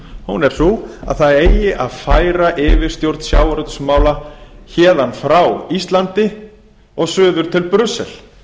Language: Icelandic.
hún er sú að það eigi að færa yfirstjórn sjávarútvegsmála héðan frá íslandi og suður til brussel